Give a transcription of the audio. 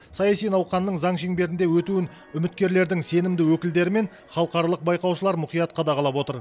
саяси науқанның заң шеңберінде өтуін үміткерлердің сенімді өкілдері мен халықаралық байқаушылар мұқият қадағалап отыр